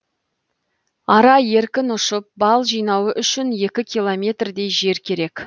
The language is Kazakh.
ара еркін ұшып бал жинауы үшін екі километрдей жер керек